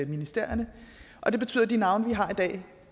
ministerierne og det betyder at de navne vi har i dag